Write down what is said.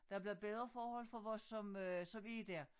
Der bliver bedre forhold for os som øh som er der